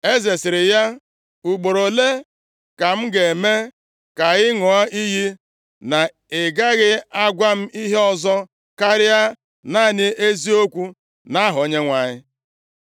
Eze sịrị ya, “Ugboro ole ka m ga-eme ka ị ṅụọ iyi na ị gaghị agwa m ihe ọzọ, karịa naanị eziokwu nʼaha Onyenwe anyị?”